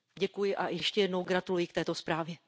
Děkuji a ještě jednou gratuluji k této zprávě.